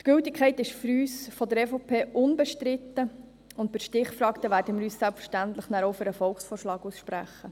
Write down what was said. Die Gültigkeit ist für uns von der EVP unbestritten, und bei der Stichfrage werden wir uns dann selbstverständlich auch für den Volksvorschlag aussprechen.